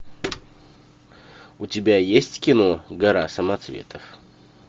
у тебя есть кино гора самоцветов